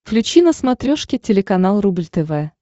включи на смотрешке телеканал рубль тв